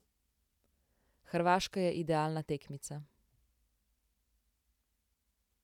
Hrvaška je idealna tekmica.